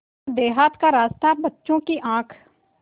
पर देहात का रास्ता बच्चों की आँख